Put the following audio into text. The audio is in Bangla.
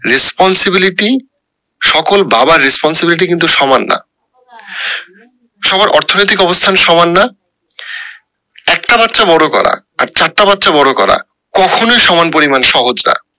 responsiblity সকল বাবার responsibility কিন্তু সমান না সবার অর্থনৈতিক অবস্থান সমান না একটা বাচ্চা বড়ো করা চারটা বাচ্চা বড়ো করা কখনোই সমান পরিমান সহজ না